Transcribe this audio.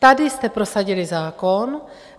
Tady jste prosadili zákon.